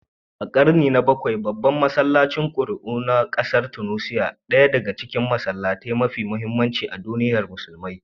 A karni na 7, babban masallacin Kairouan na kasar Tunisiya, ɗaya daga cikin masallatai mafi muhimmanci a duniyar musulmi.